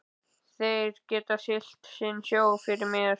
Þeir geta siglt sinn sjó fyrir mér.